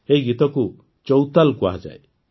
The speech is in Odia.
ଏହି ଗୀତକୁ ଚୌତାଲ୍ କୁହାଯାଏ